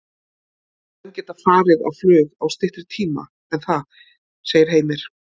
Menn geta farið á flug á styttri tíma en það, segir Heimir.